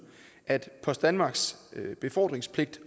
at post danmarks befordringspligt